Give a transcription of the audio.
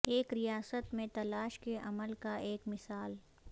ایک ریاست میں تلاش کے عمل کا ایک مثال